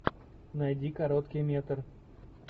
найди короткий метр